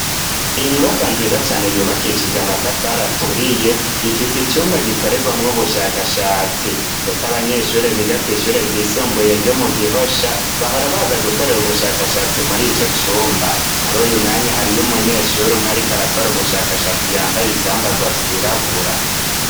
Inyubaka nziza cane yubakishije amatafaraturiye ifise icumba gikorerwamwo ubushakashatsi, ndetse abanyeshure biga kw'ishure ryisumbuye ryo mu gihosha bahora baza gukorera ubushakashatsi muri ico cumba muri uyu mwanya hariyo umunyeshuri umwe ari ko arakora ubushakashatsi yambaye ivyambarwa vyirabura.